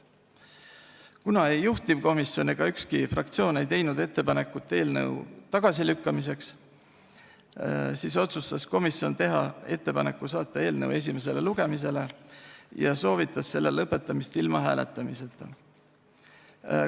Kuna ei juhtivkomisjon ega ükski fraktsioon ei teinud ettepanekut eelnõu tagasilükkamiseks, siis otsustas komisjon teha ettepaneku saata eelnõu esimesele lugemisele ja soovitas selle lõpetamist ilma hääletamiseta.